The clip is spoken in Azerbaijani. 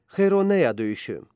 Xeyroneya döyüşü.